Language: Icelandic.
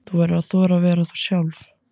Þú verður að þora að vera þú sjálf.